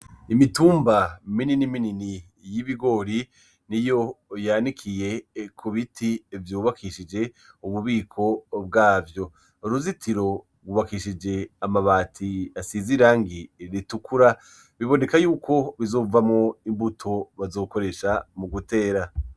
Imitumba minini minini y'ibigori niyo yanikiye ku biti vyubakishije ububiko bwavyo, uruzitiro gwubakishije amabati asize irangi ritukura biboneka yuko bizovamwo imbuto bazokoresha mu gutera.